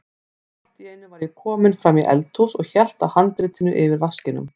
Allt í einu var ég kominn fram í eldhús og hélt á handritinu yfir vaskinum.